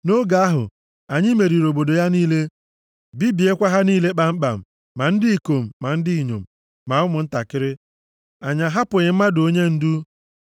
Nʼoge ahụ, anyị meriri obodo ya niile, bibiekwa ha niile kpamkpam, ma ndị ikom, ma ndị inyom, ma ụmụntakịrị. Anyị ahapụghị mmadụ onye ndụ.